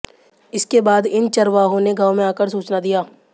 इसके बाद इन चरवाहों ने गांव में आकर सूचना दिया